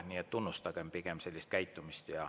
Nii et tunnustagem pigem sellist käitumist.